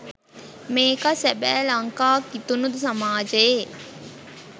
මේකා සබැ ලංකා කිතුනු සමාජයේ